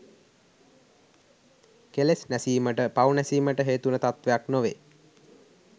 කෙලෙස් නැසීමට පව් නැසීමට හේතුවන තත්ත්වයක් නොවේ.